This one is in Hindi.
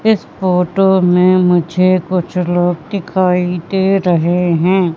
इस फोटो में मुझे कुछ लोग दिखाई दे रहे हैं।